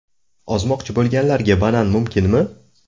Ozmoqchi bo‘lganlarga banan mumkinmi?.